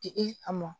Di i a mɔ